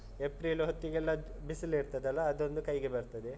April ಹೊತ್ತಿಗೆಲ್ಲ ಬಿಸಿಲು ಇರ್ತದಲ್ಲ, ಅದೊಂದು ಕೈಗೆ ಬರ್ತದೆ.